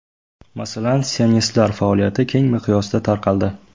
Masalan, sionistlar faoliyati keng miqyosda tarqaldi.